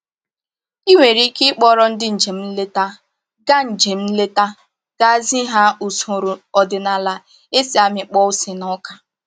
I nwere ike ịkpọrọ ndị njem nleta gaa njem nleta gaa zi ha usoro ọdịnaala e si amịkpọ ose na ọka